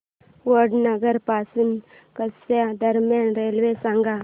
वडनगर पासून कच्छ दरम्यान रेल्वे सांगा